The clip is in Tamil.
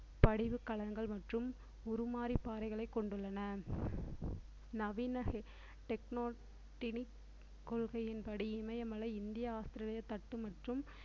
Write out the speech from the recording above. படிவு கலன்கள் மற்றும் உருமாறி பாறைகளை கொண்டுள்ளன நவீன கொள்கையின்படி இமயமலை, இந்திய ஆஸ்திரேலிய தட்டு மற்றும்